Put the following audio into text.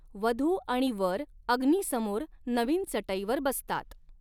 वधू आणि वर अग्नीसमोर नवीन चटईवर बसतात.